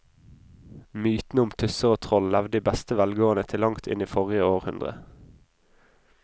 Mytene om tusser og troll levde i beste velgående til langt inn i forrige århundre.